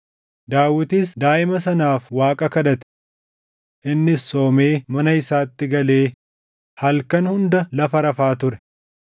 Daawitis daaʼima sanaaf Waaqa kadhate. Innis soomee mana isaatti galee halkan hunda lafa rafaa ture.